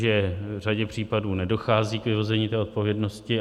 Že v řadě případů nedochází k vyvození té odpovědnosti.